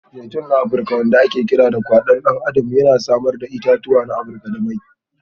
Zaitun na Afirka wanda ake kira Kwadon Adam a kasar Hausa yana samar da 'ya'yan itatuwa da mai.